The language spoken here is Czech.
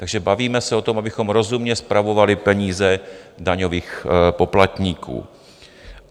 Takže bavíme se o tom, abychom rozumně spravovali peníze daňových poplatníků.